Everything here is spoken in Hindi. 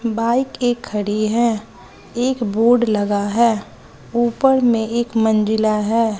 बाइक एक खड़ी है एक बोर्ड लगा है ऊपर में एक मंजिला है।